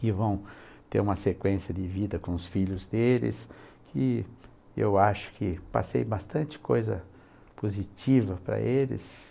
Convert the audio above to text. que vão ter uma sequência de vida com os filhos deles, que eu acho que passei bastante coisa positiva para eles.